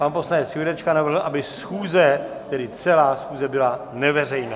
Pan poslanec Jurečka navrhl, aby schůze, tedy celá schůze byla neveřejná.